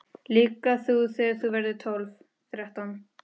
Líka þú þegar þú verður tólf, þrettán.